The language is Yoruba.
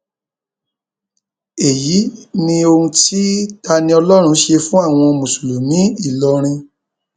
èyí ni ohun tí taniọlọrun ṣe fún àwọn mùsùlùmí ìlọrin